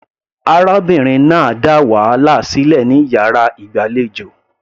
Arábìnrin náà dá wàhálà sílẹ̀ ní yàrá ìgbàlejò.